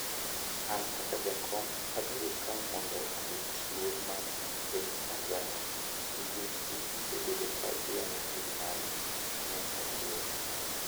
"An kaka jakom abiro ka mondo arit luor mar piny Tanzania, nikech in isebedo ka iyanyo piny mari," ne ojiwo